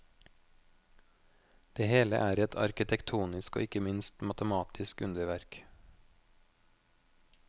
Det hele er et arkitektonisk og ikke minst matematisk underverk.